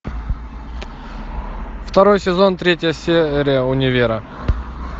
второй сезон третья серия универа